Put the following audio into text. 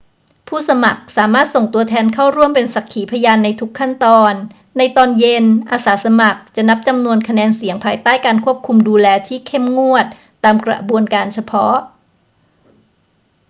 ผู้สมัครสามารถส่งตัวแทนเข้าร่วมเป็นสักขีพยานในทุกขั้นตอน ในตอนเย็น อาสาสมัครจะนับจำนวนคะแนนเสียงภายใต้การควบคุมดูแลที่เข้มงวดตามกระบวนการเฉพาะ